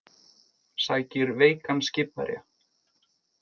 Sækir veikan skipverja